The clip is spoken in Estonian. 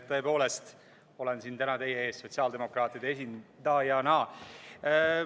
Tõepoolest olen täna siin teie ees sotsiaaldemokraatide esindajana.